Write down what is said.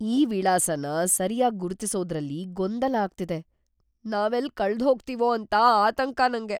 ಈ ವಿಳಾಸನ ಸರ್ಯಾಗ್‌ ಗುರ್ತಿಸೋದ್ರಲ್ಲಿ ಗೊಂದಲ ಆಗ್ತಿದೆ. ನಾವೆಲ್ಲ್‌ ಕಳ್ದ್‌ಹೋಗ್ತೀವೋ ಅಂತ ಆತಂಕ ನಂಗೆ.